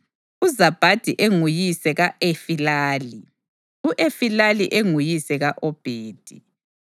uZabhadi enguyise ka-Efilali, u-Efilali enguyise ka-Obhedi,